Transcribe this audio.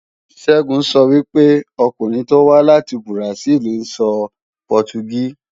Ṣẹ́gun sọ pé àwọn ọkùnrin tó wá láti Bùràsíìlì ń sọ Pọtugí